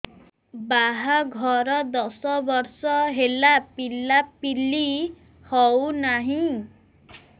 ବାହାଘର ଦଶ ବର୍ଷ ହେଲା ପିଲାପିଲି ହଉନାହି